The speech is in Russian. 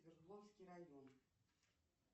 свердловский район